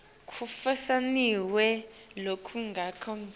kufinyelela lokulinganako kanye